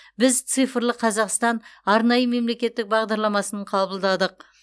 біз цифрлы қазақстан арнайы мемлекеттік бағдарламасын қабылдадық